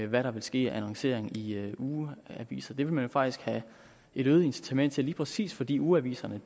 hvad der vil ske af annoncering i i ugeaviser det vil man jo faktisk have et øget incitament til lige præcis fordi ugeaviserne